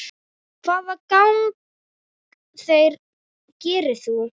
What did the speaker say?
Hvaða gagn gerir þú?